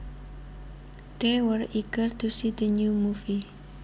They were eager to see the new movie